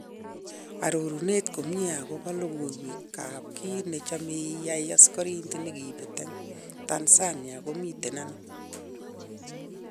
Arorunet komie akobo logoiwek kap kit nechome iyai:Asikoridet nekibet eng Tanzania komiten ano?